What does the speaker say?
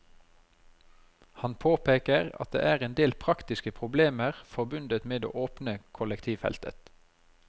Han påpeker at det er en del praktiske problemer forbundet med å åpne kollektivfeltet.